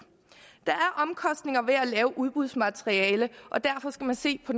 der er omkostninger ved at lave udbudsmateriale og derfor skal man se på